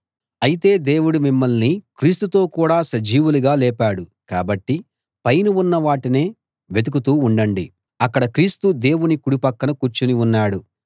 అయితే దేవుడు మిమ్మల్ని క్రీస్తుతో కూడ సజీవులుగా లేపాడు కాబట్టి పైన ఉన్న వాటినే వెతుకుతూ ఉండండి అక్కడ క్రీస్తు దేవుని కుడి పక్కన కూర్చుని ఉన్నాడు